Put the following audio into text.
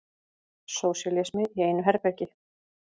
Sósíalismi í einu herbergi.